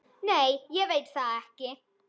Nei ég veit það ekki.